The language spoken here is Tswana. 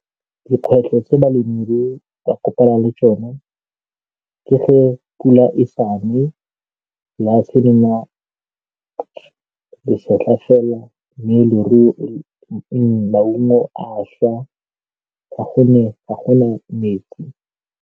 Dikgwetlho tse balemirui ba kopanang le tsone ke ge pula e sa ne, lefatshe le nna lesetlha fela mme maungo a šwa ka gonne a go na metsi.